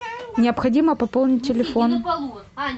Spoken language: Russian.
необходимо пополнить телефон